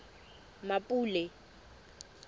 mmapule